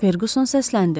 Ferquson səsləndi.